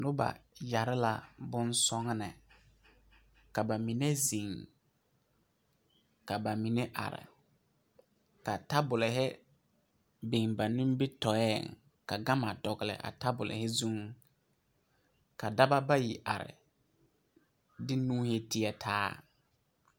Nobɔ yɛre la bon sɔgne ka ba mine zeŋ ka ba mine are ka tabolehi biŋ ba nimitooreŋ ka gama dɔgle a tabolehi zuŋ ka daba bayi are de nuuhi teɛtaa.